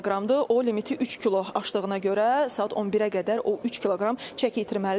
O limiti 3 kilo aşdığına görə saat 11-ə qədər o 3 kiloqram çəki itirməlidir.